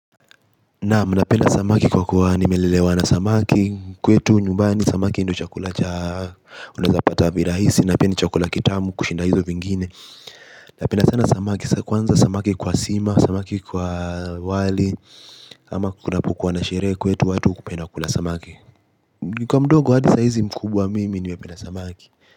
Na mna pena samaki kwa kuwa nimelelewa na samaki Kwa tu nyumbani samaki ndo chakula cha Unazapata virahisi na pia chakula kitamu kushinda hizo vingine na pena sana samaki Kwanza samaki kwa sima, samaki kwa wali ama kuna pukuwa na sherehe kwa tu watu kupenda kwa samaki Nika mdogo hadi saizi mkubwa mimi nime pena samaki.